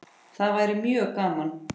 Það væri mjög gaman.